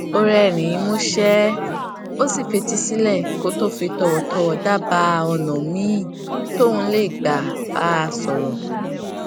ó rérìnín músé ó sì fetí sílè kó tó fi tòwòtòwò dábàá ònà míì tóun lè gbà bá a sòrò